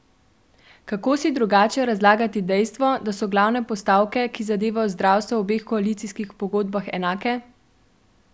Kako si drugače razlagati dejstvo, da so glavne postavke, ki zadevajo zdravstvo, v obeh koalicijskih pogodbah enake?